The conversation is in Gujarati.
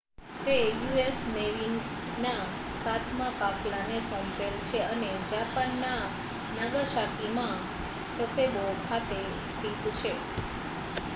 તે યુ.એસ નેવીના સાતમા કાફલાને સોંપેલ છે અને જાપાનના નાગાસાકીમાં સસેબો ખાતે સ્થિત છે